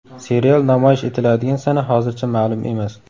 Serial namoyish etiladigan sana hozircha ma’lum emas.